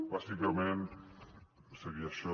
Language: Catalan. bàsicament seria això